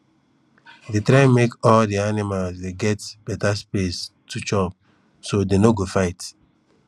dey try make all de animal dey get beta space to chopso dey no go fight